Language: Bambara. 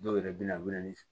Dɔw yɛrɛ bɛ na bɛ na ni